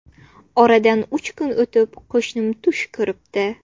Oradan uch kun o‘tib qo‘shnim tush ko‘ribdi.